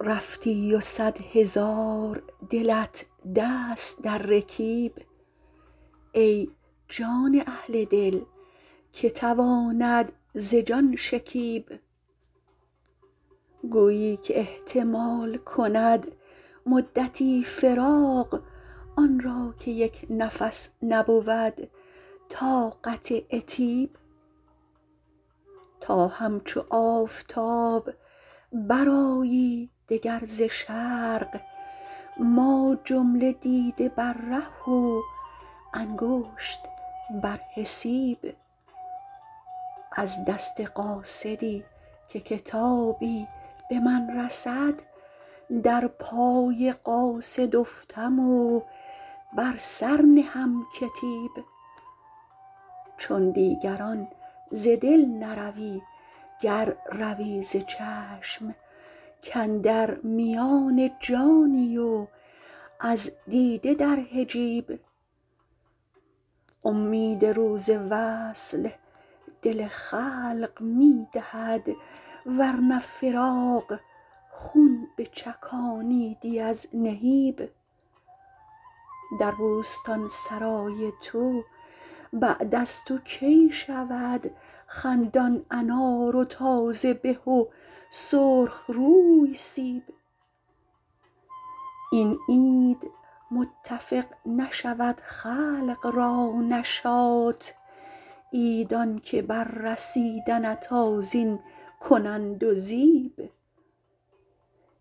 رفتی و صدهزار دلت دست در رکیب ای جان اهل دل که تواند ز جان شکیب گویی که احتمال کند مدتی فراق آن را که یک نفس نبود طاقت عتیب تا همچو آفتاب برآیی دگر ز شرق ما جمله دیده بر ره و انگشت بر حسیب از دست قاصدی که کتابی به من رسد در پای قاصد افتم و بر سر نهم کتیب چون دیگران ز دل نروی گر روی ز چشم کاندر میان جانی و از دیده در حجیب امید روز وصل دل خلق می دهد ورنه فراق خون بچکانیدی از نهیب در بوستانسرای تو بعد از تو کی شود خندان انار و تازه به و سرخ روی سیب این عید متفق نشود خلق را نشاط عید آنکه بر رسیدنت آذین کنند و زیب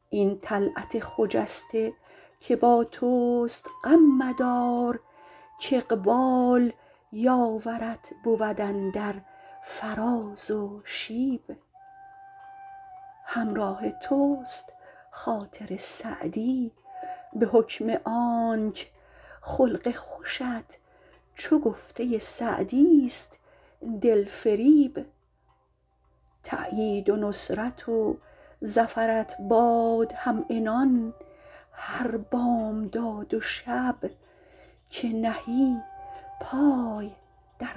این طلعت خجسته که با توست غم مدار کاقبال یاورت بود اندر فراز و شیب همراه توست خاطر سعدی به حکم آنک خلق خوشت چو گفته سعدیست دلفریب تأیید و نصرت و ظفرت باد همعنان هر بامداد و شب که نهی پای در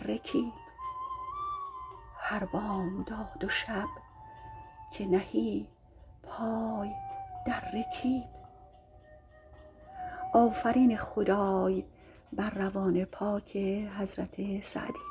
رکیب